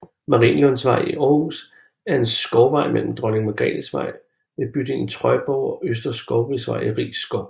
Marienlundsvej i Aarhus er en skovvej mellem Dronning Margrethes Vej ved bydelen Trøjborg og Østre Skovvej i Riis Skov